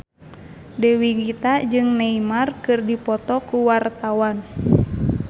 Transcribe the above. Dewi Gita jeung Neymar keur dipoto ku wartawan